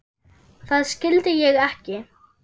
Það skildi ég ekki.